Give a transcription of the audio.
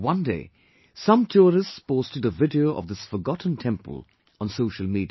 One day, some tourists posted a video of this forgotten temple on social media